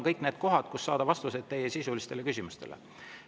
Nii on võimalus saada vastuseid teie sisulistele küsimustele.